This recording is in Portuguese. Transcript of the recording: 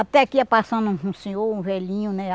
Até que ia passando um senhor, um velhinho, né?